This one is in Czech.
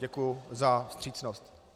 Děkuji za vstřícnost.